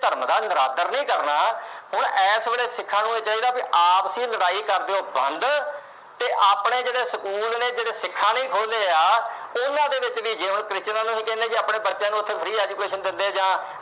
ਧਰਮ ਦਾ ਨਿਰਾਦਰ ਨਹੀਂ ਕਰਨਾ। ਹੁਣ ਏਸ ਵੇਲੇ ਸਿੱਖਾਂ ਨੂੰ ਇਹ ਚਾਹੀਦਾ ਕਿ ਆਪਸੀ ਲੜਾਈ ਕਰ ਦਿਓ ਬੰਦ ਤੇ ਆਪਣੇ ਜਿਹੜੇ school ਨੇ ਜਿਹੜੇ ਸਿੱਖਾਂ ਨੇ ਖੋਲ੍ਹੇ ਆ ਉਹਨਾਂ ਦੇ ਵਿੱਚ ਵੀ, ਜਿਵੇਂ Christian ਆਪਣੇ ਬੱਚਿਆਂ ਨੂੰ free education ਦਿੰਦੇ